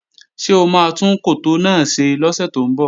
Ṣé o máa tún koto náà ṣe lọ́sẹ̀ tó ń bọ̀?